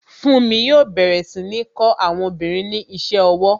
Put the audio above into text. Funmi yo bẹ̀rẹ̀ sí ní kó àwọn obìnrin ní ise owó